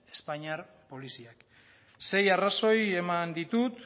espainiar poliziek sei arrazoi eman ditut